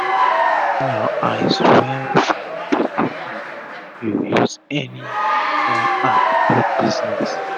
shine ur eyes wel wel before um u use any um phone app do business